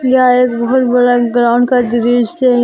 यह एक बहुत बड़ा ग्राउंड का दृश्य है।